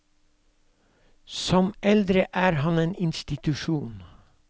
Som eldre er han en institusjon.